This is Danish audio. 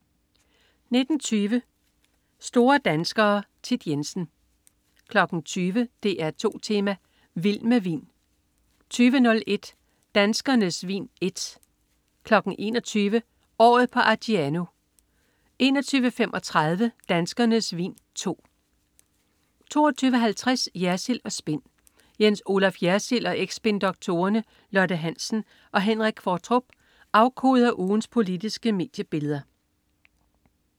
19.20 Store danskere. Thit Jensen 20.00 DR2 Tema: Vild med vin 20.01 Danskernes Vin I 21.00 Året på Argiano 21.35 Danskernes vin II 22.50 Jersild & Spin. Jens Olaf Jersild og eks-spindoktorerne Lotte Hansen og Henrik Qvortrup afkoder ugens politiske mediebilleder